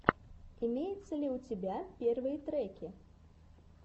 имеется ли у тебя первые треки